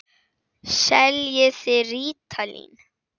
Seljið þið rítalín?